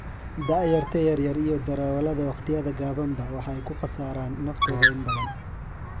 da’yarta yar yar iyo darawalada wakhtiyada gaaban ba waxa ay ku khasaaraan naftotha in badan